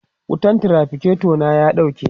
wutan traficator na ya ɗauke